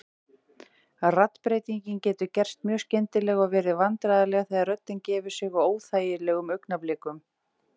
Raddbreytingin getur gerst mjög skyndilega og verið vandræðaleg þegar röddin gefur sig á óþægilegum augnablikum.